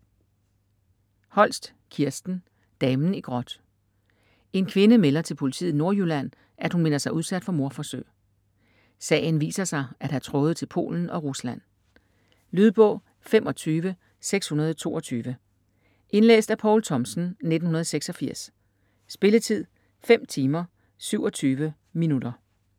Holst, Kirsten: Damen i gråt En kvinde melder til politiet i Nordjylland, at hun mener sig udsat for mordforsøg. Sagen viser sig at have tråde til Polen og Rusland. Lydbog 25622 Indlæst af Poul Thomsen, 1986. Spilletid: 5 timer, 27 minutter.